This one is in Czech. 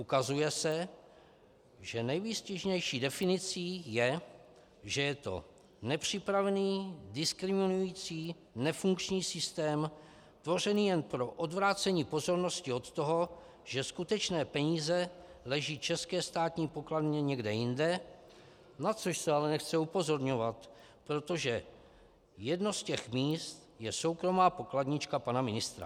Ukazuje se, že nejvýstižnější definicí je, že je to nepřipravený, diskriminující, nefunkční systém tvořený jen pro odvrácení pozornost od toho, že skutečné peníze leží české státní pokladně někde jinde, na což se ale nechce upozorňovat, protože jedno z těch míst je soukromá pokladnička pana ministra.